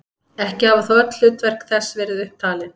Ekki hafa þó öll hlutverk þess verið upp talin.